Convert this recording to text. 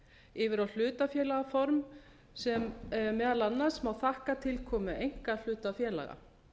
yfir á hlutafélagaform sem meðal annars má þakka tilkomu einkahlutafélaga